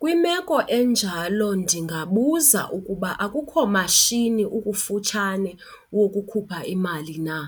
Kwimeko enjalo ndingabuza ukuba akukho mashini ukufutshane wokukhupha imali na